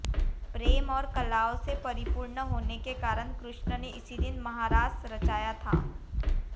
प्रेम और कलाओं से परिपूर्ण होने के कारण कृष्ण ने इसी दिन महारास रचाया था